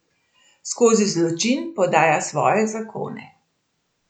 Skozi zločin podaja Svoje zakone.